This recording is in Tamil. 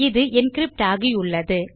இது என்கிரிப்ட் ஆகியுள்ளது